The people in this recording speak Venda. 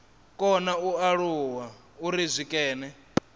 kona u alula uri zwikene